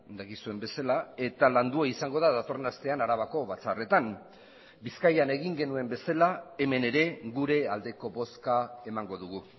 dakizuen bezala eta landua izango da datorren astean arabako batzarretan bizkaian egin genuen bezala hemen ere gure aldeko bozka emango dugu